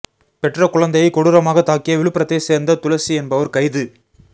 பெற்ற குழந்தையை கொடூரமாக தாக்கிய விழுப்புரத்தை சேர்ந்த துளசி என்பவர் கைது